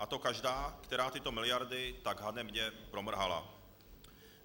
A to každá, která tyto miliardy tak hanebně promrhala.